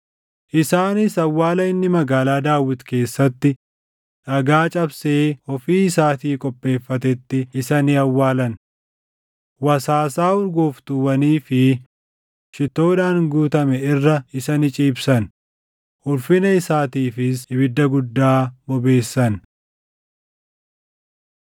Isaanis awwaala inni Magaalaa Daawit keessatti dhagaa cabsee ofii isaatii qopheeffatetti isa ni awwaalan. Wasaasaa urgooftuuwwanii fi shittoodhaan guutame irra isa ni ciibsan; ulfina isaatiifis ibidda guddaa bobeessan.